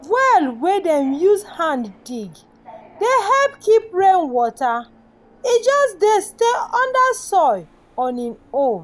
well wey dem dey use hand dig dey help keep rain water e just dey stay under soil on e own.